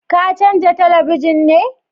Ka canja talabijin ne?